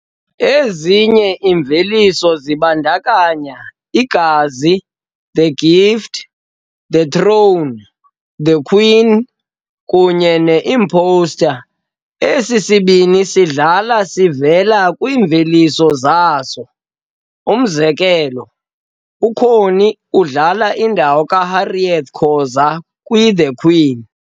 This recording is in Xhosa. Ezinye iimveliso zibandakanya "iGazi", "The Gift", "The throne", "TheQueen" kunye "ne-Imposter". Esi sibini sihlala sivela kwiimveliso zaso, umzekelo, uConnie udlale indawo kaHarriet Khoza kwiThe "Queen".